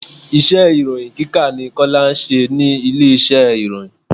Iṣẹ́ ìròhìn kíkà ni Kọ́lá ń ṣe ní ilé iṣẹ́ ìròyìn.